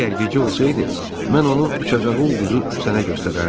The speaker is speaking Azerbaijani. Əgər gecə olsaydı, mən onun uçacağı ulduzu sənə göstərərdim.